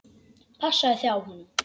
Passaðu þig á honum.